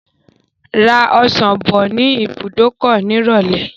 Ra ọsàn bọ̀ ní ibùdókọ̀ nírọ̀lẹ́.